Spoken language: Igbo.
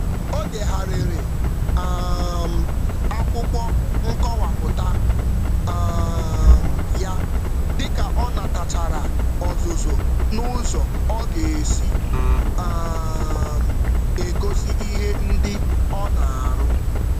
Ọ kwalitere pọtụfoliyo ya mgbe ọ natachara ndụmọdụ banyere ka ọ ga-esi gosipụta onyinye ya.